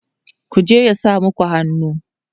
ku je ya sa maku hannu!